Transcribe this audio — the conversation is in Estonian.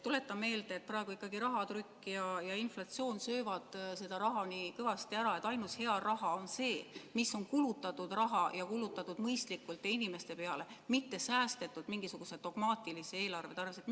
Tuletan meelde, et praegu ikkagi rahatrükk ja inflatsioon söövad seda raha nii kõvasti ära, et ainus hea raha on kulutatud raha, mõistlikult ja inimeste peale kulutatud raha, mitte mingisuguse dogmaatilise eelarve tarvis säästetud raha.